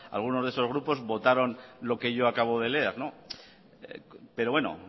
alguno de esos grupos votaron lo que yo acabo de leer pero bueno